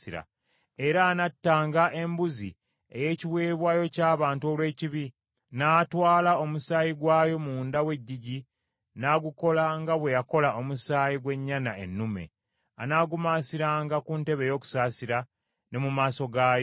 “Era anattanga embuzi ey’ekiweebwayo ky’abantu olw’ekibi, n’atwala omusaayi gwayo munda w’eggigi n’agukola nga bwe yakola omusaayi gw’ennyana ennume; anaagumansiranga ku ntebe ey’okusaasira ne mu maaso gaayo.